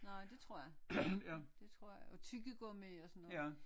Nej det tror jeg det tror jeg og tyggegummi og sådan noget